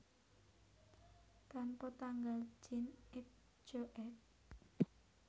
Tanpa tanggal Jean et Jo éd